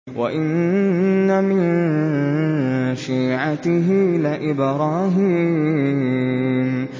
۞ وَإِنَّ مِن شِيعَتِهِ لَإِبْرَاهِيمَ